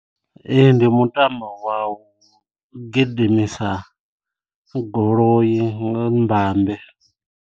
Ee ndi mutambo wa u gidimisa goloi nga mbambe.